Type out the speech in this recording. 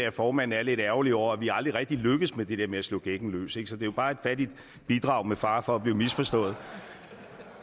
at formanden er lidt ærgerlig over at vi aldrig rigtig lykkes med det der med at slå gækken løs er jo bare et fattigt bidrag med fare for at blive misforstået